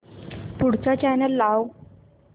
पुढचा चॅनल लाव